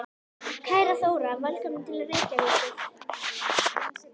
Kæra Þóra. Velkomin til Reykjavíkur.